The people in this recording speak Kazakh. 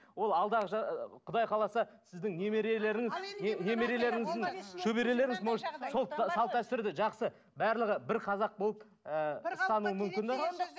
ол алдағы құдай қаласа сіздің немерелеріңіз шөберелеріңіз может сол салт дәстүрді жақсы барлығы бір қазақ болып